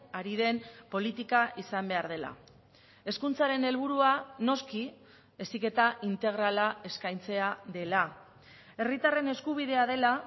ari den politika izan behar dela hezkuntzaren helburua noski heziketa integrala eskaintzea dela herritarren eskubidea dela